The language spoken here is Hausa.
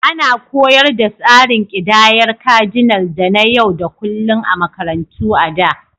Ana koyar da tsarin ƙidayar Cardinal da na yau da kullun a makarantu a da.